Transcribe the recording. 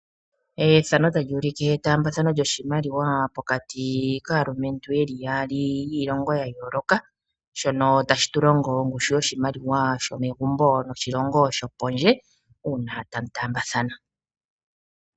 Etambathano lyoshimaliwa pokati kaantu yeli yaali yo kiilongo ya yooloka shono hashi tu longo ongushu yoshimaliwa shomegumbo noshilongo shopondje uuna tamu taambathana.